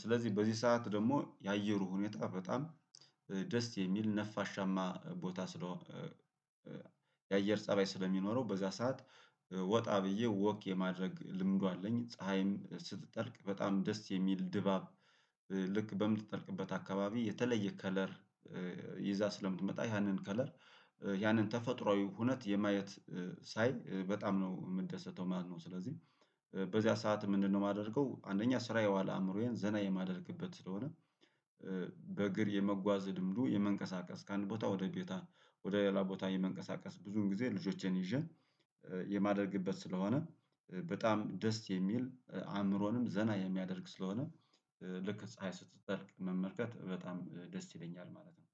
ስለዚህ በዚህ ሰዓት ደግሞ የአየሩ ሁኔታ በጣም ደስ የሚል ነፋሻማ ቦታ ስለሆነ የአየር ፀባይ ስለሚኖረው በዛ ሰዓት ወጣ ብዬ ወክ የማድረግ ልምዱ አለኝ ፀሀይም ስትጠልቅ በጣም ደስ የሚል ድባብ ልክ በምትጠልቅበት አካባቢ የተለየ ከለር ይዛ ስለምትመጣ ያንን ከለር ያንን ተፈጥሮአዊ ሁነት የማየት ሳይ በጣም ነው የምንደሰተው ማለት ነው፤ ስለዚህ በዚያ ሰዓት ምንድነው የማደርገው አንደኛ ስራ የዋለ አእምሮዬን ዘና የማደርግበት ስለሆነ በእግር የመጓዝ ድምዱ የመንቀሳቀስ ከአንድ ቦታ ወደ ቦታ ወደ ሌላ ቦታ የመንቀሳቀስ ብዙን ጊዜ ልጆቼን ይዤ የማደርግበት ስለሆነ በጣም ደስ የሚል አእምሮንም ዘና የሚያደርግ ስለሆነ ልክ ፀሀይ ስትጠልቅ መመርከት በጣም ደስ ይለኛል ማለት ነው።